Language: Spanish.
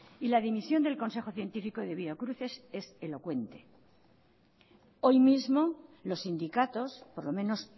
y la dimisión del consejo científico de biocruces es elocuente hoy mismo los sindicatos por lo menos